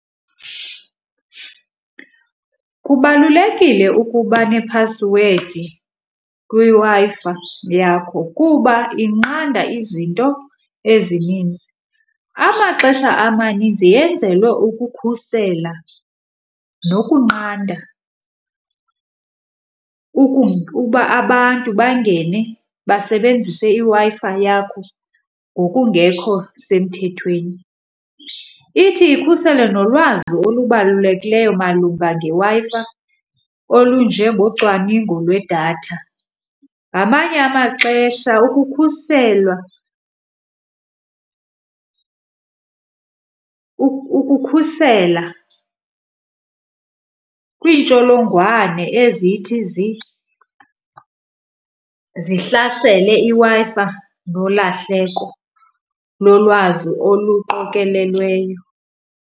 Kubalulekile ukuba nephasiwedi kwiWi-Fi yakho kuba inqanda izinto ezininzi. Amaxesha amaninzi yenzelwe ukukhusela nokunqanda ukuba abantu bangene basebenzise iWi-Fi yakho ngokungekho semthethweni. Ithi ikhusele nolwazi olubalulekileyo malunga ngeWi-Fi olunjengocwaningo lwedatha. Ngamanye amaxesha ukukhuselwa ukukhusela kwiintsholongwane ezithi zihlasele iWi-Fi nolahleko lolwazi oluqokelelweyo.